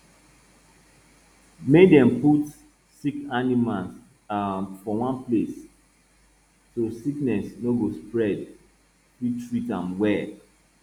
make dem put sick animal um for one place so sickness no go spread fit treat um am well